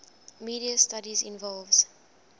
media studies involves